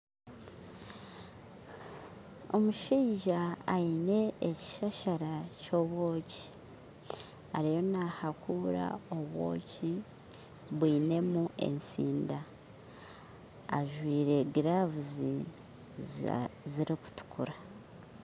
Omushaija aine ekishashaara ky'obwooki ariyo nahaakura obwooki bwinemu esiinda ajwire giravuzi zirikutuukura